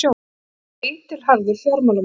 Hann er eitilharður fjármálamaður.